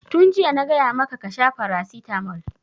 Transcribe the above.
Tun jiya na gaya maka ka sha paracetamol!